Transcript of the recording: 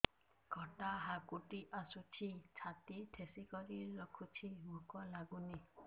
ଖଟା ହାକୁଟି ଆସୁଛି ଛାତି ଠେସିକରି ରଖୁଛି ଭୁକ ଲାଗୁନି